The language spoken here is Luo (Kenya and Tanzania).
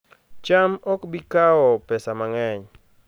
cham ok bi kawo pesa mang'eny